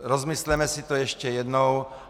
Rozmysleme si to ještě jednou.